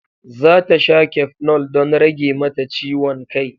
Zata sha cafenol don rage mata ciwon kai.